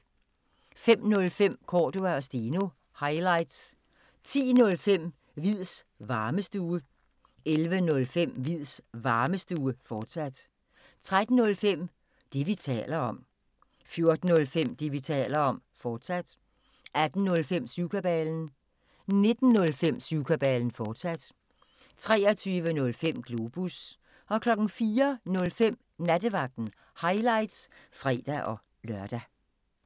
05:05: Cordua & Steno – highlights 10:05: Hviids Varmestue 11:05: Hviids Varmestue, fortsat 13:05: Det, vi taler om 14:05: Det, vi taler om, fortsat 18:05: Syvkabalen 19:05: Syvkabalen, fortsat 23:05: Globus 04:05: Nattevagten – highlights (fre-lør)